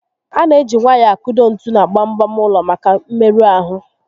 A na eji nwayọọ akụdo ntu na gbam gbam ụlọ maka mmerụ ahụ